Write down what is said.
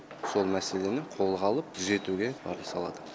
сол мәселені қолға алып түзетуге барын салады